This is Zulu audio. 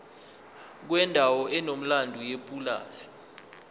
kwendawo enomlando yepulazi